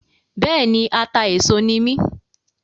Bẹ́ẹ̀ni, atà-éso ni mí